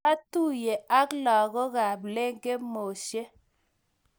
kiotuye ak longii ab lekemoshe.